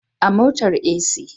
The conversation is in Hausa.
A motar AC